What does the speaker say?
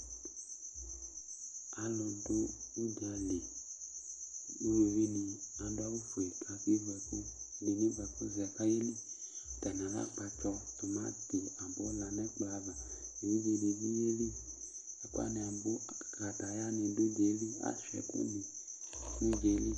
Alʋ dʋ ʋdza li Uluvi nɩ adʋ awʋfue kʋ akevu ɛkʋ Ɛdɩnɩ evʋɛkʋzɛ kʋ ayeli Atani alɛ akpatsɔ, tʋmaŋtɩ nʋ abula nʋ ɛkplɔ ava Evidze dɩ bɩ yeli Ɛkʋ wanɩ abʋ Kataya nɩdʋ udza yɛ li Asʋia ɛkʋ nɩ nʋ udza yɛ li